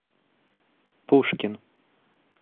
пушкин